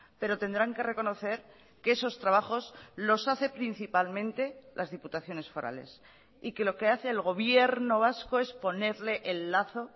pero tendrán que reconocer que esos trabajos los hace principalmente las diputaciones forales y que lo que hace el gobierno vasco es ponerle el lazo